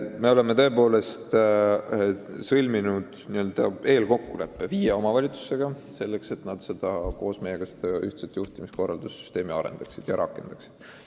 Me oleme tõepoolest sõlminud eelkokkuleppe viie omavalitsusega, selleks et nad koos meiega seda ühtset juhtumikorralduse süsteemi arendaksid ja rakendaksid.